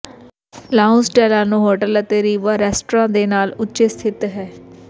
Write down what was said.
lounge Delano hotel ਅਤੇ ਰਿਵਵਾ restaurant ਦੇ ਨਾਲ ਉੱਚੇ ਸਥਿਤ ਹੈ